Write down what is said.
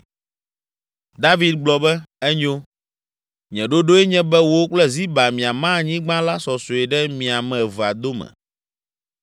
David gblɔ be, “Enyo, nye ɖoɖoe nye be wò kple Ziba miama anyigba la sɔsɔe ɖe mi ame evea dome.”